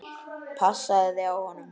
Passaðu þig á honum.